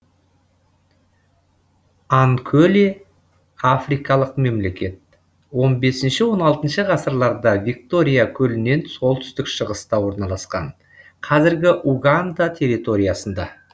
анкөле африкалық мемлекет он бесінші он алтыншы ғасырларда виктория көлінен солтүстік шығыста орналасқан қазіргі уганда территориясында